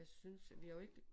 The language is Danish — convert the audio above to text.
Jeg synes vi har jo ikke